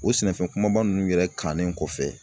O sɛnɛfɛn kumaba nunnu yɛrɛ kannen kɔfɛ